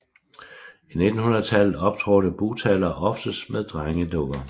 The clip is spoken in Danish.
I 1900 tallet optrådte bugtalere oftest med drengedukker